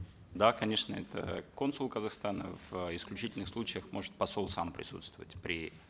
да конечно это консул казахстана в исключительных случаях может посол сам присутствовать при